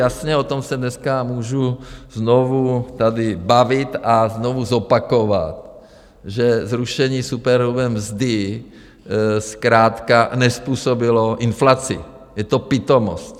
Jasně, o tom se dneska můžu znovu tady bavit a znovu zopakovat, že zrušení superhrubé mzdy zkrátka nezpůsobilo inflaci, je to pitomost.